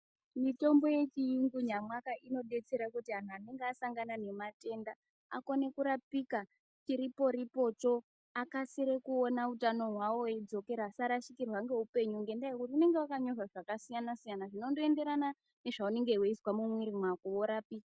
Mitombo yechiyungu nyamwaka inodetsera kuti antu anenge asangana nematenda akone kurapika chiripo-ripocho. Akasire kuona utano hwawo weidzokera asarashikirwa ngeupenyu ngendaa yekuti unonga vakanyorwa zvakasiyana-siyana, zvinondoenderana nezvaunenge veizwa mumwiri mwako vorapika.